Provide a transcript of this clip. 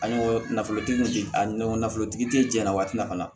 An ye nafolotigiw di an nafolotigi te jɛn na waati nafana